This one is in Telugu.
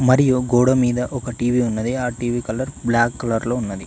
మరియు గోడ మీద ఒక టీ_వీ ఉన్నది ఆ టీ_వీ కలర్ బ్లాక్ కలర్ లో ఉన్నది.